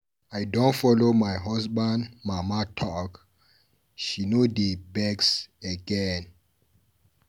I don follow my husband mama talk, she no dey vex again.